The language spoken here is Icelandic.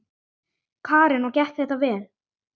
Karen: Og gekk þetta vel?